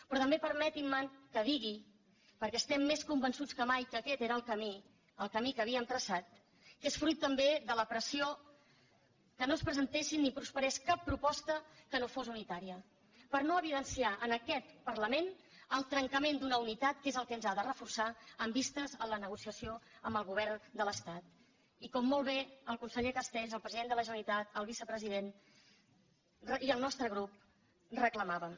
però també permetin me que digui perquè estem més convençuts que mai que aquest era el camí el camí que havíem traçat que és fruit també de la pressió que no es presentés ni prosperés cap proposta que no fos unitària per no evidenciar en aquest parlament el trencament d’una unitat que és el que ens ha de reforçar amb vista a la negociació amb el govern de l’estat i com molt bé el conseller castells el president de la generalitat el vicepresident i el nostre grup reclamàvem